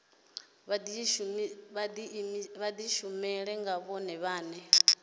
vha dishumele nga vhone vhane